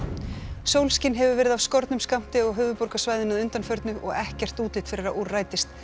sólskin hefur verið af skornum skammti á höfuðborgarsvæðinu að undanförnu og ekkert útlit fyrir að úr rætist